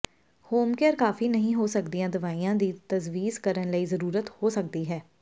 home care ਕਾਫੀ ਨਹੀਂ ਹੋ ਸਕਦੀ ਦਵਾਈਆਂ ਦੀ ਤਜਵੀਜ਼ ਕਰਨ ਦੀ ਜ਼ਰੂਰਤ ਹੋ ਸਕਦੀ ਹੈ